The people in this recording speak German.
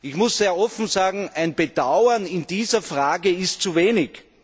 Ich muss sehr offen sagen, ein Bedauern in dieser Frage ist zu wenig.